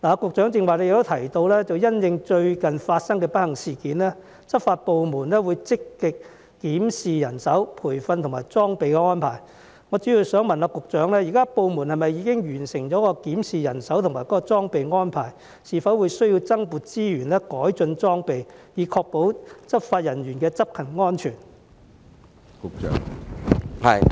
局長剛才也提到，因應最近發生的不幸事件，執法部門會積極檢視人手、培訓和裝備的安排，我主要想問局長，部門現時是否已完成檢視人手和裝備的安排，是否需要增撥資源改進裝備，以確保執法人員的執勤安全？